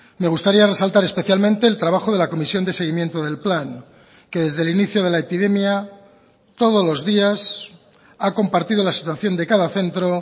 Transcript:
me gustaría resaltar especialmente el trabajo de la comisión de seguimiento del plan que desde el inicio de la epidemia todos los días ha compartido la situación de cada centro